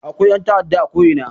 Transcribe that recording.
Akwai ƴan ta'adda a ko ina